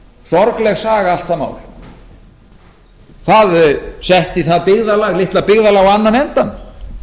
sorgleg saga allt það mál það setti það litla byggðarlag á annan endann